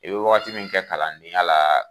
I bɛ wagati min kɛ kalandenya la